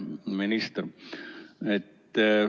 Hea minister!